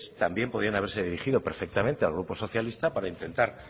también podrían haberse dirigido perfectamente al grupo socialista para intentar